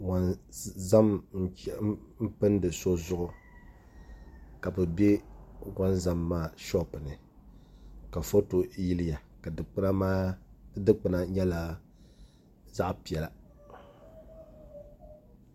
Wonzam n pindi so zuɣu ka bi bɛ wonzam maa shoop ni ka foto yiliya ka di dikpuna nyɛla zaɣ piɛla